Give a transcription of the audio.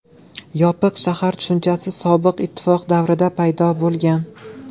Yopiq shahar tushunchasi Sobiq Ittifoq davrida paydo bo‘lgan.